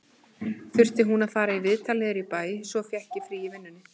Hún þurfti að fara í viðtal niður í bæ, svo ég fékk frí í vinnunni